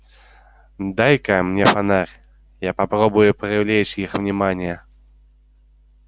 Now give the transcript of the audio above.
дай-ка мне фонарь я попробую привлечь их внимание